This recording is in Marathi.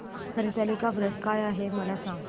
हरतालिका व्रत काय आहे मला सांग